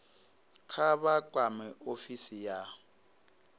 kha vha kwame ofisi ya